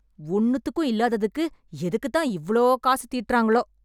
ஒன்னுதுக்கும் இல்லாதத்துக்கு எதுக்கு தான் இவ்ளோ காசு தீட்டுறாங்களோ